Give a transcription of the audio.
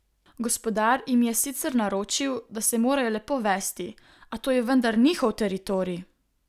Gospodar jim je sicer naročil, da se morajo lepo vesti, a to je vendar njihov teritorij!